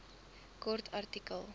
kort artikel